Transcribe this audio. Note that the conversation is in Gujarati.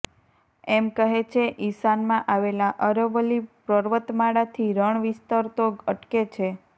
એમ કહે છે ઈશાનમાં આવેલા અરવલ્લી પર્વતમાળાથી રણ વિસ્તરતો અટકે છે